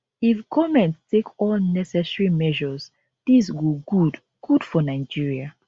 if goment take all necessary measures dis go good good for nigeria